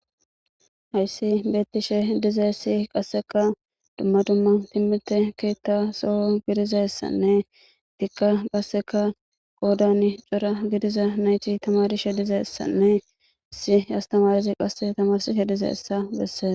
Hayssi beettishe dize si qasseka dumma dumma timmite kiitta soho gidizassanne dikka qasseka qoodan cora gidiza nayti tamarishe dizeessanne issi astamarizi qasse tamarsishe dizeessa besseesa.